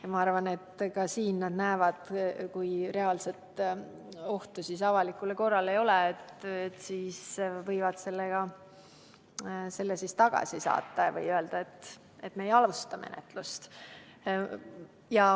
Ja ma arvan, et ka siin nad näevad, et kui reaalset ohtu avalikule korrale ei ole, siis võivad nad kaebuse tagasi lükata või öelda, et me ei alusta menetlust.